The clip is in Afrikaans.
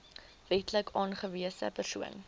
wetlik aangewese persoon